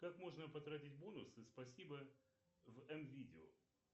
как можно потратить бонусы спасибо в м видео